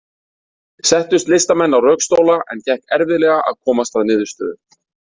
Settust listamenn á rökstóla, en gekk erfiðlega að komast að niðurstöðu.